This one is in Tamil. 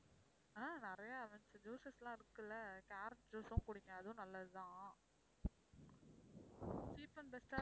ஆஹ் நிறைய juices லாம் இருக்கு இல்ல carrot juice உம் குடிங்க அதுவும் நல்லதுதான் cheap and best ஆ